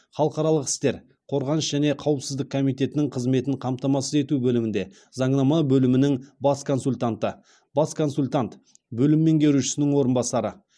халықаралық істер қорғаныс және қауіпсіздік комиетінің қызметін қамтамасыз ету бөлімінде заңнама бөлімінің бас консультанты бас консультант бөлім меңгерушісінің орынбасары